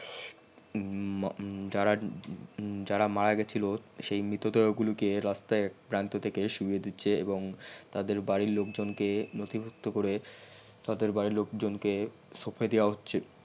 যারা উম যারা উম মারা গিয়েছিল সেই মৃতদেহ গুলিকে রাস্তাই সুয়ে দিছহে এবং তাদের বারির লোক কে নতিভুক্ত করে তাদের বারির লোকজন কে সপে দেওয়া হচ্ছে